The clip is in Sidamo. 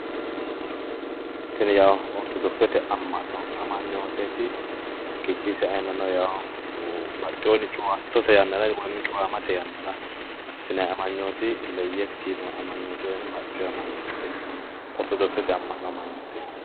Tini ortodokisete amma'no amanyooteeti